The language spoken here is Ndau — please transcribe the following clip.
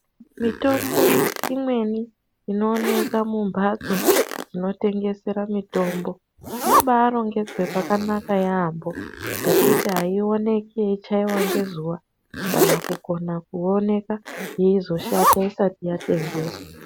Mitombo imweni inooneka kumbatso dzinotengesera mitombo, inobarongedzwe zvakanaka yaambo pekuti ayionekwi yeichaiwa ngezuwa kana kukona kuonekwa yeizoshata isati yatengeswa.